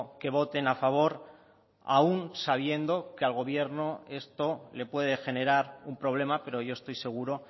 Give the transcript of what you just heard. que voten a favor aun sabiendo que al gobierno esto le puede generar un problema pero yo estoy seguro